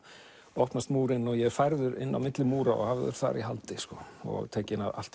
opnast múrinn og ég er færður inn á milli múra og hafður þar í haldi og tekið allt